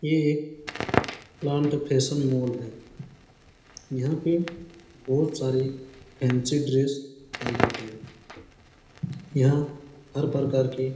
ये एक plant fashion mall है यहाँ पे बहुत सारे फैंसी ड्रेस पाए जाते है यहाँ हर प्रकार के --